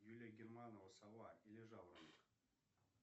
юлия германова сова или жаворонок